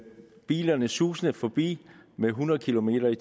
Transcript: bilerne susende forbi med hundrede kilometer